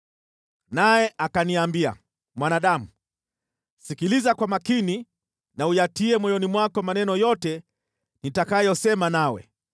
Naye akaniambia, “Mwanadamu, sikiliza kwa makini na uyatie moyoni mwako maneno yote nitakayosema nawe.